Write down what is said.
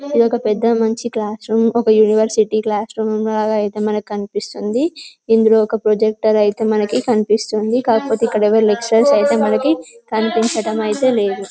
ఇదొక పెద్ద మంచి క్లాస్ రూమ్ ఒక యూనివర్సిటీ క్లాస్ రూమ్ లాగా అయితే మనకు కనిపిస్తుంది . ఇందులో ఒక ప్రొజెక్టర్ అయితే మనకి కనిపిస్తుంది. కాకపోతే ఇక్కడ ఎవరు లెక్చరర్స్ అయితే కనిపించడం అయితే లేదు .